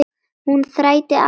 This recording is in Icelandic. Hún þrætti aldrei fyrir það.